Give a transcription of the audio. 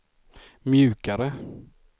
mjukare